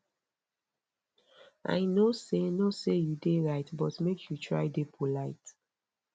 i know sey know sey you dey right but make you try dey polite